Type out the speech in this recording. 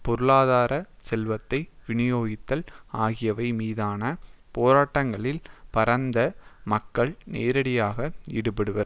பொருளாதார செல்வத்தை விநியோகித்தல் ஆகியவை மீதான போராட்டங்களில் பரந்த மக்கள் நேரடியாக ஈடுபடுவர்